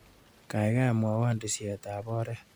Kaikai mwawa tisyetap oret.